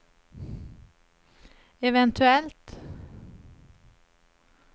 eventuellt